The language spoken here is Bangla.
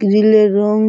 গ্রিল - এর রঙ --